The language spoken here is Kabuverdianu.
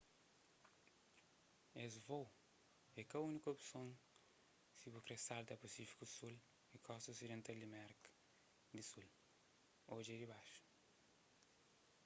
es vôu é ka úniku opson si bu kre salta pasífiku sul y kosta osidental di merka di sul. odja dibaxu